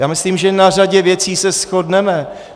Já myslím, že na řadě věcí se shodneme.